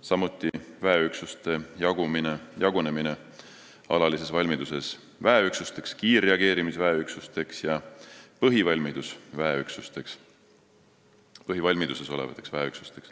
samuti väeüksuste jagunemine alalises valmiduses väeüksusteks, kiirreageerimisväeüksusteks ja põhivalmiduses olevateks väeüksusteks.